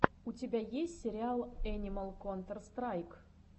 у тебя есть сериал энимал контэр страйк